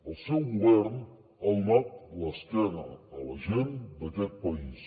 el seu govern ha donat l’esquena a la gent d’aquest país